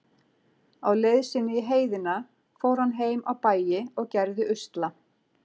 Á leið sinni í heiðina fór hann heim á bæi og gerði usla.